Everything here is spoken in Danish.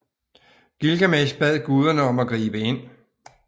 Gilgamesh bad guderne om at gribe ind